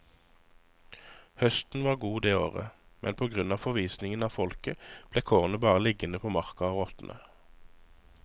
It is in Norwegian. Høsten var god det året, men på grunn av forvisningen av folket ble kornet bare liggende på marka og råtne.